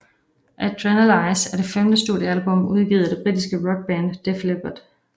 Adrenalize er det femte studieablum udgivet af det britiske rockband Def Leppard